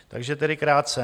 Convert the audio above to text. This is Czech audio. Takže tedy krátce.